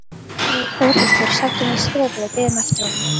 Við Þórhildur sátum í stofu og biðum eftir honum.